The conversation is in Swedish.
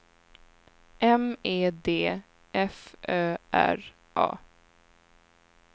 M E D F Ö R A